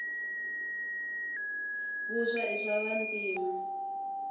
vuswa i swava ntima